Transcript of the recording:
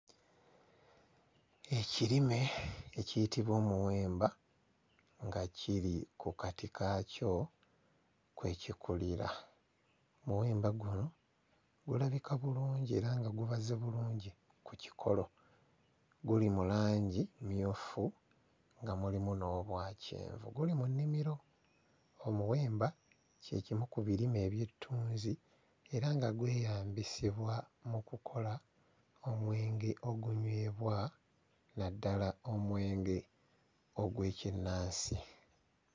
Ekirime ekiyitibwa omuwemba nga kiri ku kati kaakyo kwe kikulira, muwemba guno gulabika bulungi era nga gubaze bulungi ku kikolo, guli mu langi mmyufu nga mulimu n'obwa kyenvu guli mu nnimiro, omuwemba kye kimu ku birime eby'ettunzi era nga gweyambisibwa mu kukola omwenge ogunywebwa naddala omwenge ogw'ekinnansi.